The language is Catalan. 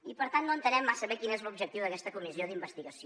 i per tant no entenem massa bé quin és l’objectiu d’aquesta comissió d’investigació